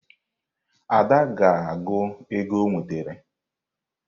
Ada ga-agụ ego o nwetara.